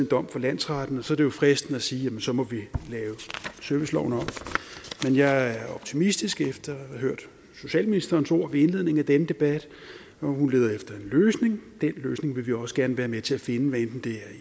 dom fra landsretten og så er det jo fristende at sige at så må vi lave serviceloven om men jeg er optimistisk efter at have hørt socialministerens ord ved indledningen af denne debat hun leder efter en løsning og den løsning vil vi også gerne være med til at finde hvad enten det er